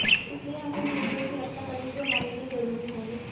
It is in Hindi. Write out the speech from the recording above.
इसलिए हम उन मुद्दों की रक्षा करेंगे जो हमारे लिए जरूरी होंगे